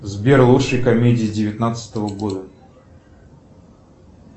сбер лучшие комедии девятнадцатого года